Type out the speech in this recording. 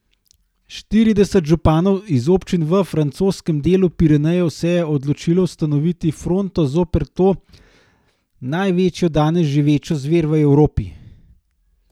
Štirideset županov iz občin v francoskem delu Pirenejev se je odločilo ustanoviti fronto zoper to največjo danes živečo zver v Evropi.